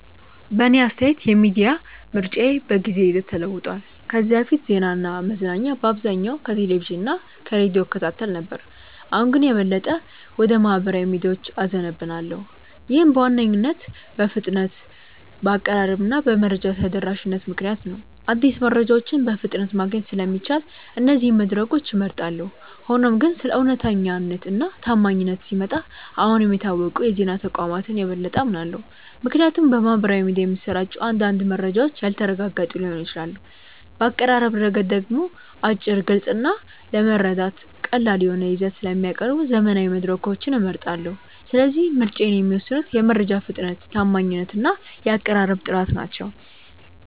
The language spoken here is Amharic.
በእኔ አስተያየት የሚዲያ ምርጫዬ በጊዜ ሂደት ተለውጧል። ከዚህ በፊት ዜናና መዝናኛ በአብዛኛው ከቴሌቪዥን እና ከሬዲዮ እከታተል ነበር፣ አሁን ግን የበለጠ ወደ ማኅበራዊ ሚዲያዎች እዘነብላለሁ። ይህም በዋነኝነት በፍጥነት፣ በአቀራረብ እና በመረጃ ተደራሽነት ምክንያት ነው። አዲስ መረጃዎችን በፍጥነት ማግኘት ስለሚቻል እነዚህን መድረኮች እመርጣለሁ። ሆኖም ግን ስለ እውነተኛነት እና ታማኝነት ሲመጣ አሁንም የታወቁ የዜና ተቋማትን የበለጠ አምናለሁ፣ ምክንያቱም በማኅበራዊ ሚዲያ የሚሰራጩ አንዳንድ መረጃዎች ያልተረጋገጡ ሊሆኑ ይችላሉ። በአቀራረብ ረገድ ደግሞ አጭር፣ ግልጽ እና ለመረዳት ቀላል የሆነ ይዘት ስለሚያቀርቡ ዘመናዊ መድረኮችን እመርጣለሁ። ስለዚህ ምርጫዬን የሚወስኑት የመረጃ ፍጥነት፣ ታማኝነት እና የአቀራረብ ጥራት ናቸው።